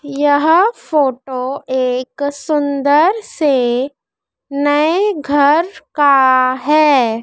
यह फोटो एक सुंदर से नए घर का हैं।